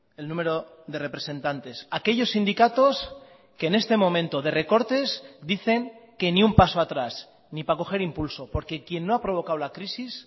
el número de representantes aquellos sindicatos que en este momento de recortes dicen que ni un paso atrás ni para coger impulso porque quien no ha provocado la crisis